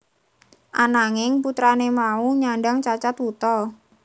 Ananging putrane mau nyandhang cacat wuta